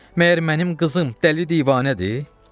Məyər mənim qızım dəli divanədir?